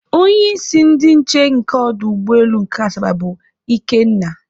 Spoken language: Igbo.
Onyeisi ndị nche nke ọdụ ụgbọelu nke Asaba bụ Ikenna